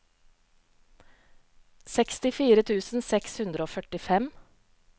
sekstifire tusen seks hundre og førtifem